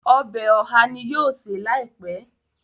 Ọbẹ̀ oha ní yóò ṣe láìpé.